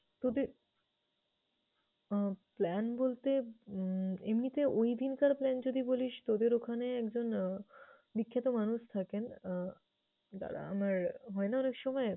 তোদের আহ plan বলতে উম এমনিতে ওইদিনকার plan যদি বলিস, তোদের ওখানে একজন বিখ্যাত মানুষ থাকেন আহ দাঁড়া আমার হয়না অনেকসময়